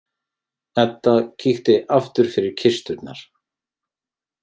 Edda kíkti aftur fyrir kisturnar.